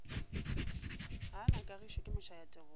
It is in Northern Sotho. gaa na kagišo ke mošayatebogo